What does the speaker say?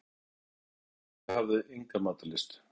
Múlakaffi en ég hafði enga matarlyst.